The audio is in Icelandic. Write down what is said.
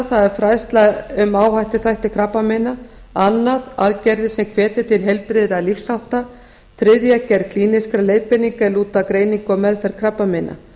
það er fræðsla um áhættuþætti krabbameina annars aðgerðir sem hvetja til heilbrigðra lífshátta þriðja gerð klínískra leiðbeininga er lúta að greiningu og meðferð krabbameina